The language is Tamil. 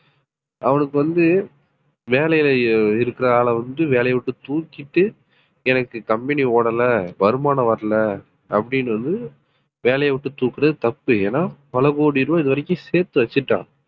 அவனுக்கு வந்து வேலையில இருக்கிற ஆளை வந்து வேலையை விட்டு தூக்கிட்டு எனக்கு company ஓடல வருமானம் வரல அப்படின்னு வந்து வேலையை விட்டு தூக்குறது தப்பு ஏன்னா பல கோடி ரூபாய் இதுவரைக்கும் சேர்த்து வச்சுட்டான்